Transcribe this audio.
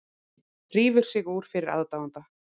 Rífur sig úr fyrir aðdáanda